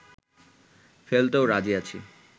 ফেলতেও রাজি আছি